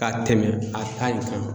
Ka tɛmɛn a ta in kan.